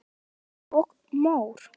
Mýrar og mór